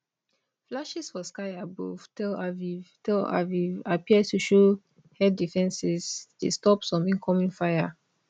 flashes for sky above tel aviv tel aviv appear to show air defences dey stop some incoming fire